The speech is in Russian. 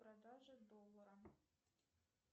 продажа доллара